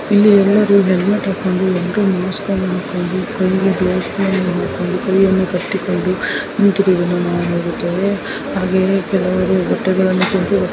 ಇಲ್ಲಿ ಎಲ್ಲರು ಹೆಲ್ಮೆಟ್ ಹಾಕೊಂಡು ಕೈಯನ್ನು ಕಟ್ಟಿಕೊಂಡು ನಿಂತಿದು ಎಂದು ನೋಡುತ್ತಾರೆ. ಹಾಗೆ ಕೆಳಗೆ ಬಟ್ಟೆಗಳನ್ನು --